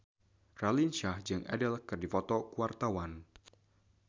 Raline Shah jeung Adele keur dipoto ku wartawan